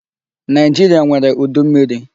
Nigeria nwèrè udu mmmiri.